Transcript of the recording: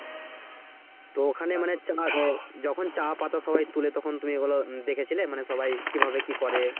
তো ওখানে মানে হচ্ছে যখন চা পাতা সবাই তুলে তখন তুমি এগুলো দেখেছিলে মানে সবাই কিভাবে কি করে?